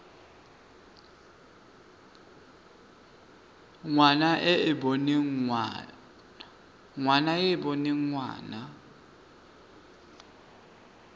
ngwana e e boneng ngwana